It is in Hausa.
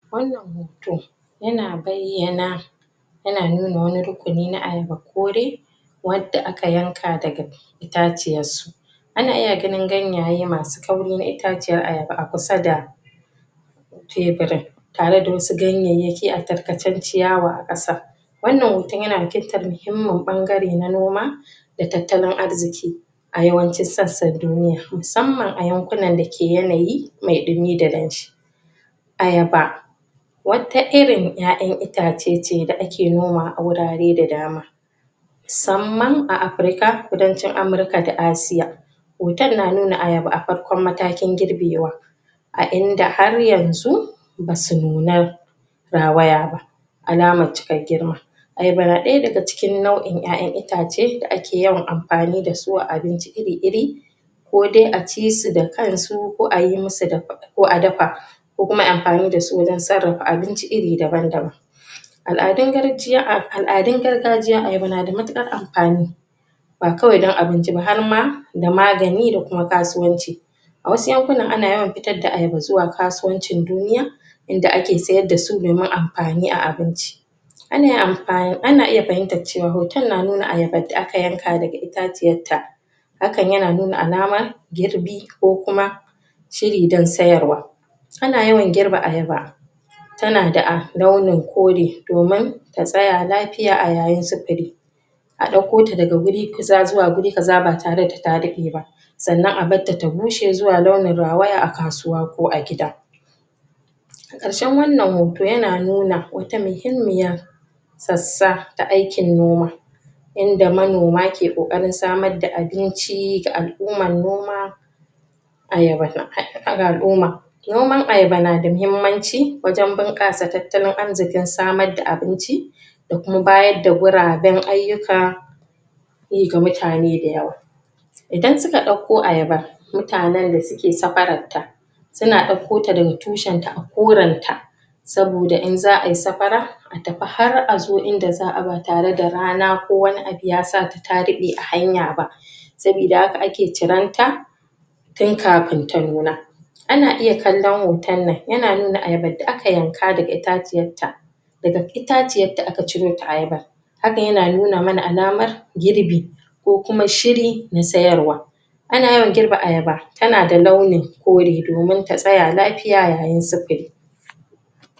wannan hoto ya na bayana yana nuna wani na ayaba kore wadda aka yanka da ga itaciyan su ana iya gani ganyaye masu kauri na itaciya ayaba a kusa da tebirin tare da wasu ganyeyeki a tarkacen ciyawa a kasa wannan hoton yana fitar muhimman bangare na noma da tattalin arziki a wayanci sassan duniya musamman a yankunan da ke yanayi mai dumi da danshi ayaba wata irin 'ya'ya itace ce da ake noma a wurare da dama samman a Afrika kudancin Amrika da Asia hoton na nuna ayaba a farkon matakin girbewa a in da har yanzu ba su nuna rawaya alaman cikar girma ayaba na daya daga cikin nau'in 'ya'yan itace da ake yawan amfani da su a abinci iri iri ko dai a ci su da kan su a yi musu ko a dafa ko kuma a yi amfani da su wajan sarrafa abinci iri daban daban al'adun gargajiyan ayaba na da matukar amfani ba kawai dan abinci ba har ma da magani da kuma kasuwanci a wasu yankunan ana yawan fitar da ayaba zuwa kasuwancin duniya in da ake sayar da su mai ma amfani a abinci ana iya fahimta cewa hoton na nuna ayaban da aka yanka da ga itaciyan ta hakan ya na nuna alama girbi ko kuma shiri dan sayar wa ana yawan girba ayaba ta na da a raunin kode domin ta tsaya lafiya a yayin sifili a dauko ta daga wuri kusa zuwa wuri kaza ba tare sannan a bar ta ta bushe zuwa launi kasuwa ko a gida a karshe wannan hoto ya na nuna wata muhimmiyar sssa ta aikin noma yanda manoma ke kokarin samar da abinci da al'uman noma ayaba ga al'uma noman ayaba na da muhimmanci wajen bunkasa tattalin arzikin samar da abinci da kuma bayar da gwaraben ayuka ga mutane da yawa idan su kadauko ayaba mutanen da suke safarar ta suna dauko ta da ga tushin ta a koran ta soboda in za'a yi safara a tafi har a zo in da za a ba tare da rana ko wani abu ta sa ta dade a hanya ba sobida haka a ke ciranta tin kafin ya nuna ana iya kalon hoton nan yana nuna ayaba da aka yanka daka itatuwan ta daga itaciyan ta aka ciro ta ayaba haka yana nuna mana alaman girbi ko kuma shiri na sayar wa ana yawan girba ayaba ta na da launin kore domin ta tsaya lafiya yayin sifiri